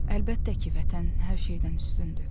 Əlbəttə ki, vətən hər şeydən üstündür.